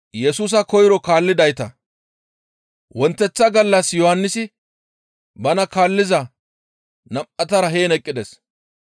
Wonteththa gallas Yohannisi bana kaalliza nam7atara heen eqqides.